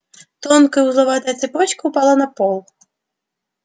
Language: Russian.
тонкая узловатая цепочка упала на пол